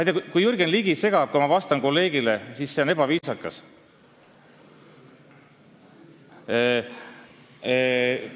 Kui Jürgen Ligi segab mind, kui ma vastan kolleegile, siis see on ebaviisakas.